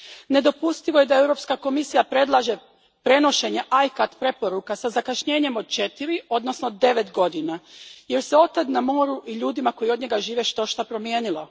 Nedopustivo je da Europska komisija predlaže prenošenje ICCAT preporuka sa zakašnjenjem od četiri, odnosno devet godina jer se otad na moru i ljudima koji od njega žive štošta promijenilo.